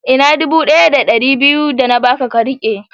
Ina dubu daya da dari daya da biyu da na Baka ka tike?